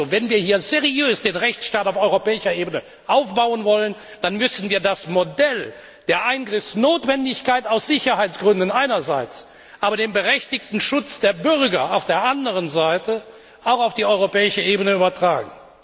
Wenn wir also den Rechtsstaat auf europäischer Ebene seriös aufbauen wollen, dann müssen wir das Modell der Eingriffsnotwendigkeit aus Sicherheitsgründen einerseits, aber den berechtigten Schutz der Bürger andererseits auch auf die europäische Ebene übertragen.